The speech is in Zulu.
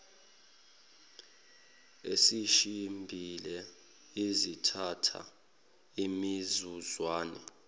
ezishibhile ezithatha imizuzwana